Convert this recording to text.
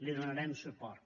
hi donarem suport